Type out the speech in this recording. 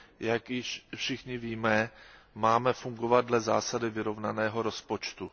Jak již všichni víme, máme fungovat dle zásady vyrovnaného rozpočtu.